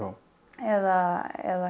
eða eða